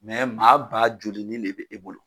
Mɛ maa ba joli de bɛ na e bolo.!